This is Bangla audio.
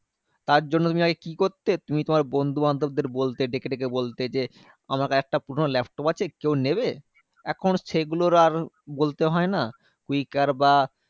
তার জন্য তুমি আগে কি করতে? তুমি তোমার বন্ধুবান্ধব দের বলতে ডেকে ডেকে বলতে যে, আমার কাছে একটা পুরোনো laptop আছে কেউ নেবে? এখন সেগুলোর আর বলতে হয় না। কুইকার বা